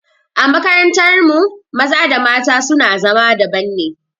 A makarantar mu maza da mata su na zama daban ne